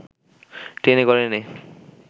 টেনে ঘরে এনে